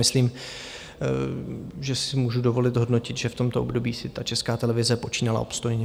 Myslím, že si můžu dovolit hodnotit, že v tomto období si ta Česká televize počínala obstojně.